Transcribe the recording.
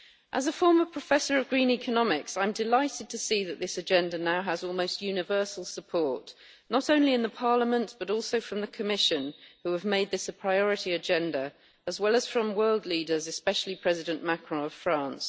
As a former professor of green economics, I am delighted to see that this agenda now has almost universal support, not only in Parliament, but also from the Commission, who have made this a priority agenda, as well as from world leaders, especially President Macron of France.